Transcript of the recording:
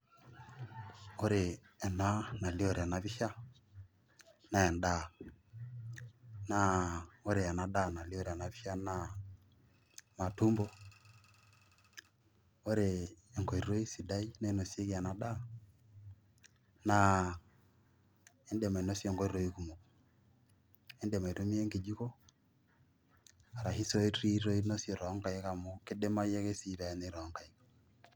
Kore ena nalio tenapisha, nendaa. Naa ore enadaa nalio tenapisha naa matumbo, ore enkoitoi sidai nainosieki enadaa, naa idim ainosie nkoitoi kumok. Idim aitumia enkidiko, arashu soe tii inosie tonkaik amu kidimayu ake si peenyai tonkaik.